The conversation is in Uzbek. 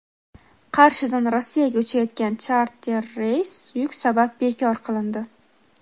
Qarshidan Rossiyaga uchayotgan charter reys yuk sabab bekor qilindi.